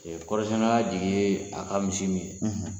Kɔɔrisɛnɛna jigi ye a ka misi min ye